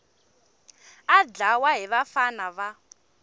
a dlawa hi vafana va